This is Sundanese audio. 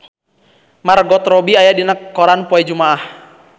Margot Robbie aya dina koran poe Jumaah